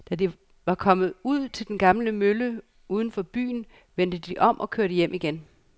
Da de var kommet ud til den gamle mølle uden for byen, vendte de om og kørte hjem igen.